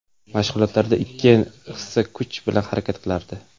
Mashg‘ulotlarda ikki hissa kuch bilan harakat qilardi.